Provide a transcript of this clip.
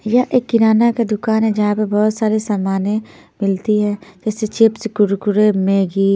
यह एक किराना का दुकान है जहाँ पे बहुत सारी सामानें मिलती है जैसे चिप्स कुरकुरे मैगी --